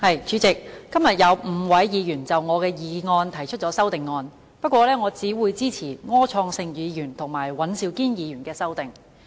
主席，今天有5位議員就我的議案提出修正案，不過我只會支持柯創盛議員及尹兆堅議員的修正案。